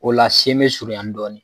O la se bɛ surunya dɔɔnin.